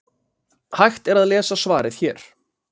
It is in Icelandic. hægt er að lesa svarið hér